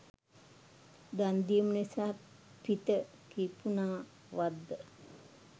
දන්දීම නිසා පිත කිපුනා වත්ද?